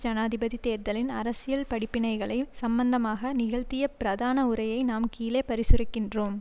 ஜனாதிபதி தேர்தலின் அரசியல் படிப்பினைகள் சம்பந்தமாக நிகழ்த்திய பிரதான உரையை நாம் கீழே பரிசுரிக்கின்றோம்